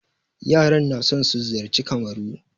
Yaran na son su ziyarci Kamaru.